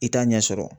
I t'a ɲɛ sɔrɔ